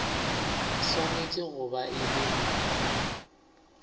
swanetše go ba e le